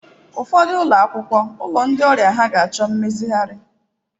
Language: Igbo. Ụfọdụ ụlọ akwụkwọ, ụlọ ndi ọrịa ha ga-achọ mmezigharị.